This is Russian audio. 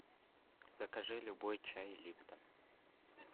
закажи любой чай липтон